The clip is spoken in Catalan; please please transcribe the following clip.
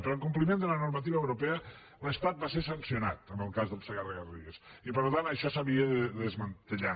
però en compliment de la normativa europea l’estat va ser sancionat en el cas del segarra garrigues i per tant això s’havia de desmantellar